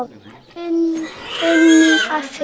Þín Nína Sif.